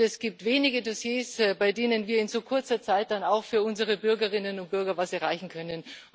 Es gibt wenige Dossiers, bei denen wir in so kurzer Zeit dann auch für unsere Bürgerinnen und Bürger etwas erreichen können.